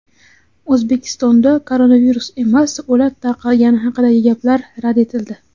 O‘zbekistonda koronavirus emas, o‘lat tarqalgani haqidagi gaplar rad etildi.